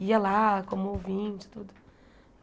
Ia lá como ouvinte e tudo.